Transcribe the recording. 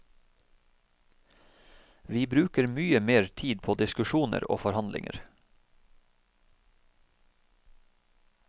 Vi bruker mye mer tid på diskusjoner og forhandlinger.